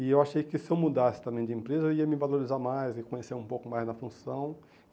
E eu achei que se eu mudasse também de empresa, eu ia me valorizar mais e conhecer um pouco mais da função.